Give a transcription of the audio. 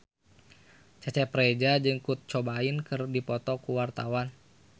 Cecep Reza jeung Kurt Cobain keur dipoto ku wartawan